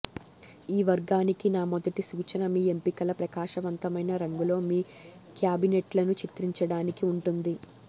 ఈ వర్గానికి నా మొదటి సూచన మీ ఎంపికల ప్రకాశవంతమైన రంగులో మీ క్యాబినెట్లను చిత్రించడానికి ఉంటుంది